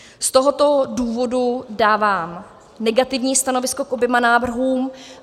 Z tohoto důvodu dávám negativní stanovisko k oběma návrhům.